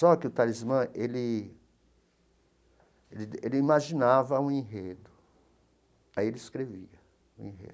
Só que o Talismã ele ele ele imaginava um enredo, aí ele escrevia o enredo.